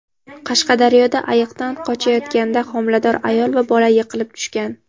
Qashqadaryoda ayiqdan qochayotganda homilador ayol va bola yiqilib tushgan.